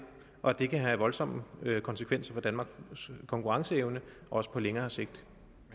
og at det kan have voldsomme konsekvenser for danmarks konkurrenceevne også på længere sigt